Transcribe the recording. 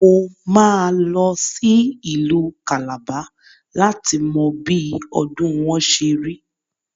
Mo máa lọ sí Ìlú Kàlàba láti mọ bí ọdùn wọn ṣerí.